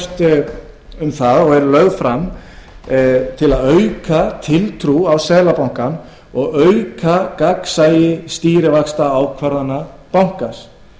fremst sett fram til að auka tiltrú á seðlabankanum og auka gagnsæi stýrivaxtaákvarðana bankans